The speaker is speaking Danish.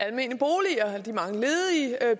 at